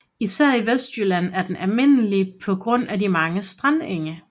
Især i Vestjylland er den almindelig på grund af de mange strandenge